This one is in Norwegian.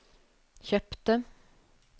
kjøpte